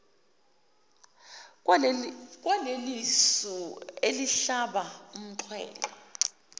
kwalelisu elihlaba umxhwele